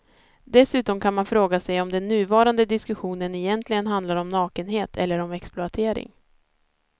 Dessutom kan man fråga sig om den nuvarande diskussionen egentligen handlar om nakenhet eller om exploatering.